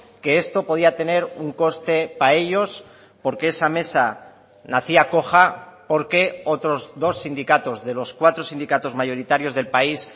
que esto podía tener un coste para ellos porque esa mesa nacía coja porque otros dos sindicatos de los cuatro sindicatos mayoritarios del país